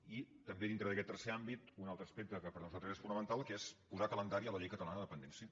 i també dintre d’aquest tercer àmbit un altre aspecte que per nosaltres és fonamental que és posar calendari a la llei catalana de la dependència